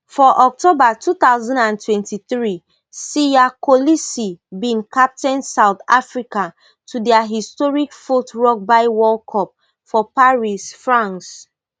for october two thousand and twenty-three siya kolisi bin captain south africa to dia historic fourth rugby world cup for paris france